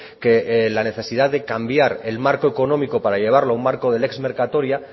que la necesidad de cambiar el marco económico para llevarlo a un marco del lex mercatoria